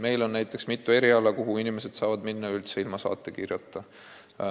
Meil on mitu eriala, mille spetsialisti juurde inimesed saavad minna ilma saatekirjata.